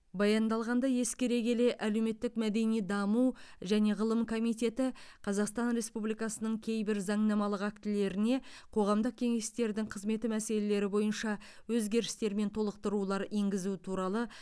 баяндалғанды ескере келе әлеуметтік мәдени даму және ғылым комитеті қазақстан республикасының кейбір заңнамалық актілеріне қоғамдық кеңестердің қызметі мәселелері бойынша өзгерістер мен толықтырулар енгізу туралы